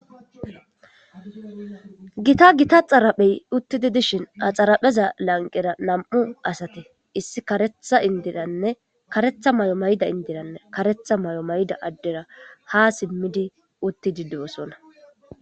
Giita xaraphey uttidi dishshin ha xarapheza lanqqera nam'u asati issi kareththa maayo mayida indiranne addera ha simiddi uttidi de'ossona.